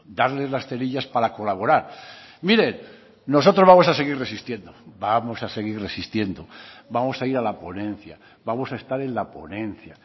darles las cerillas para colaborar miren nosotros vamos a seguir resistiendo vamos a seguir resistiendo vamos a ir a la ponencia vamos a estar en la ponencia